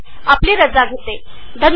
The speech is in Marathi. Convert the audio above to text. आपण हे प्रशिक्षण पाहिल्याबद्दल धन्यवाद